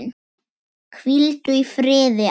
Hvíldu í friði afi.